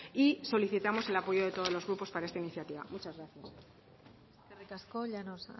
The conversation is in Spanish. y solicitamos el apoyo de todos los grupos para esta iniciativa muchas gracias eskerrik asko llanos